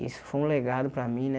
Isso foi um legado para mim, né?